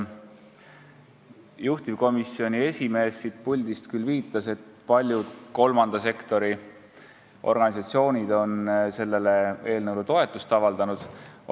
Juhtivkomisjoni esimees viitas siin puldis, et paljud kolmanda sektori organisatsioonid on sellele eelnõule toetust avaldanud.